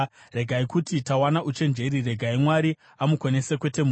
Regai kuti, ‘Tawana uchenjeri; regai Mwari amukonese, kwete munhu.’